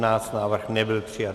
Návrh nebyl přijat.